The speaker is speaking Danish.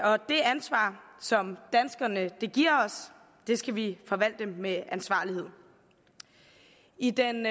og det ansvar som danskerne giver os skal vi forvalte med ansvarlighed i den